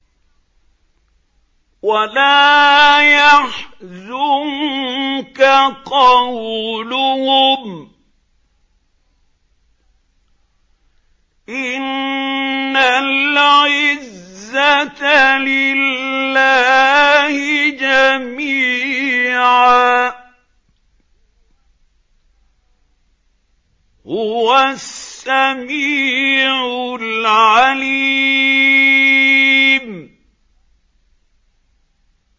وَلَا يَحْزُنكَ قَوْلُهُمْ ۘ إِنَّ الْعِزَّةَ لِلَّهِ جَمِيعًا ۚ هُوَ السَّمِيعُ الْعَلِيمُ